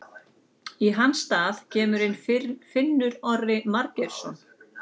Í hans stað kemur inn Finnur Orri Margeirsson.